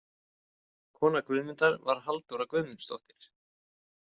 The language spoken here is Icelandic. Kona Guðmundar var Halldóra Guðmundsdóttir.